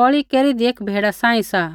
बलि केरीदी एक भेड़ा सांही सा